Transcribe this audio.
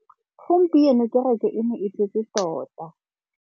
Gompieno kêrêkê e ne e tletse tota.